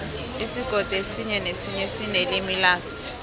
isigodi esinye nesinye sinelimi laso